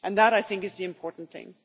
That, I think, is the important thing.